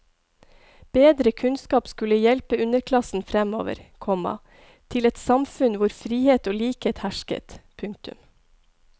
Bedre kunnskap skulle hjelpe underklassen fremover, komma til et samfunn hvor frihet og likhet hersket. punktum